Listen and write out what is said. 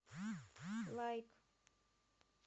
лайк